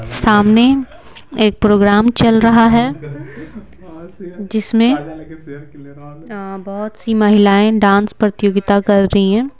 सामने एक प्रोग्राम चल रहा है जिसमें बहुत सी महिलाएं डांस प्रतियोगिता कर रही हैं.